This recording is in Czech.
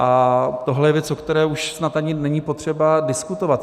A tohle je věc, o které už snad ani není potřeba diskutovat.